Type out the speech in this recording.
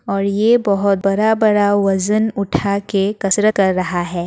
और ये बहुत बड़ा-बड़ा वज़न उठा के कसरत कर रहा है।